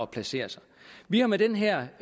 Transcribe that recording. placere sig vi har med den her